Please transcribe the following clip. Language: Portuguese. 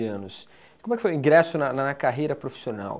anos. Como é que foi o ingresso na na carreira profissional?